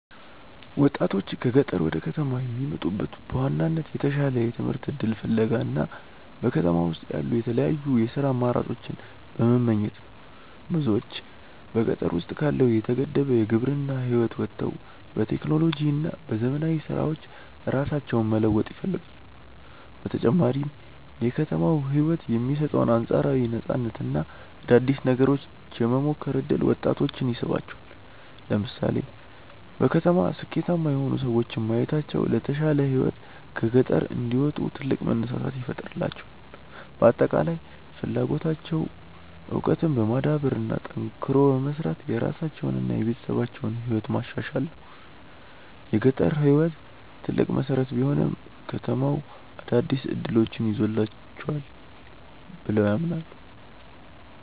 ወጣቶች ከገጠር ወደ ከተማ የሚመጡት በዋናነት የተሻለ የትምህርት እድል ፍለጋ እና በከተማ ውስጥ ያሉ የተለያዩ የሥራ አማራጮችን በመመኘት ነው። ብዙዎች በገጠር ውስጥ ካለው የተገደበ የግብርና ህይወት ወጥተው በቴክኖሎጂ እና በዘመናዊ ስራዎች ራሳቸውን መለወጥ ይፈልጋሉ። በተጨማሪም የከተማው ህይወት የሚሰጠው አንፃራዊ ነፃነት እና አዳዲስ ነገሮችን የመሞከር እድል ወጣቶችን ይስባቸዋል። ለምሳሌ በከተማ ስኬታማ የሆኑ ሰዎችን ማየታቸው ለተሻለ ህይወት ከገጠር እንዲወጡ ትልቅ መነሳሳት ይፈጥርላቸዋል። በአጠቃላይ ፍላጎታቸው እውቀትን በማዳበር እና ጠንክሮ በመስራት የራሳቸውንና የቤተሰባቸውን ህይወት ማሻሻል ነው። የገጠር ህይወት ትልቅ መሰረት ቢሆንም፣ ከተማው አዳዲስ እድሎችን ይዞላቸዋል ብለው ያምናሉ።